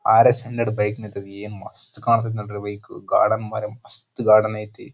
R S hundred bike ನಿಂತೈತಿ ಏನ್ ಮಸ್ತ್ ಕಾಂತೈತಿ ನೋಡ್ರಿ ಬೈಕ್ ಗಾರ್ಡನ್ ಮರೆ ಮಸ್ತ್ ಗಾರ್ಡನ್ ಐತ್ತಿ.